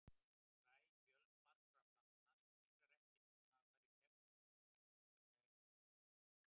Fræ fjölmargra plantna spíra ekki nema hafa farið í gegnum meltingarveg fugla.